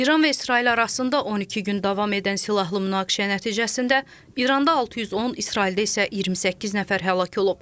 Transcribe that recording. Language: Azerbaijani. İran və İsrail arasında 12 gün davam edən silahlı münaqişə nəticəsində İranda 610, İsraildə isə 28 nəfər həlak olub.